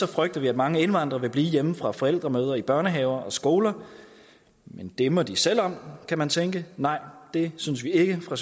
frygter vi at mange indvandrere vil blive hjemme fra forældremøder i børnehaver og skoler men det må de selv om kan man tænke nej det synes vi ikke fra